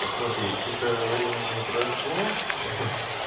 посмотри сколько времени прошло ха-ха